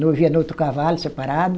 Noivo ia no outro cavalo, separado.